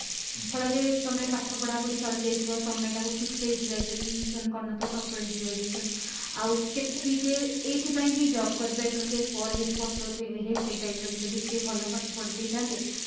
ଫଳରେ ତମେ ପାଠ ପଢା ପଢି ସରିଯାଇଥିବ ସମୟଟା କୁ ଠିକ ସେ utilization କରିନଥିବେ proper utilization ଆଉ କେତେ କିଏ କିଏ ଏଇଥି ପାଇଁ ହିଁ job କରିପାରି ନଥିବେ ପରେ ହେଇଠି ପସ୍ତଉଥିବେ ଏ ହେ ସେଇ time ରେ ମୁଁ ଯଦି ଟିକେ ଭଲ ପାଠ ପଢି ଦେଇଥାନ୍ତି